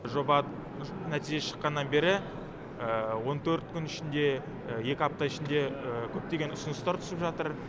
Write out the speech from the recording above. жоба нәтижесі шыққаннан бері он төрт күн ішінде екі апта ішінде көптеген ұсыныстар түсіп жатыр